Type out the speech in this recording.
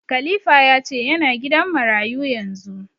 Khalifa ya ce ya na gidan marayu yanzu